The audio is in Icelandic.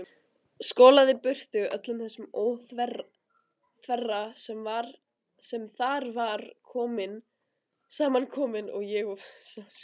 Skolaði burtu öllum þessum óþverra sem þar var saman kominn og ég sá skýrt.